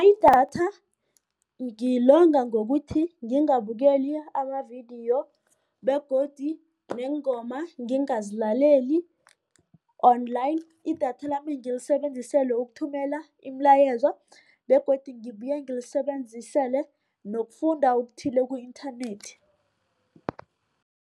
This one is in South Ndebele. Idatha ngilonga ngokuthi ngingabukeli amavidiyo begodu neengoma ngingazilaleli online. Idatha lami ngilisebenzisele ukuthumela imilayezo begodu ngibuye ngilisebenzisele nokufunda okuthile ku-internet.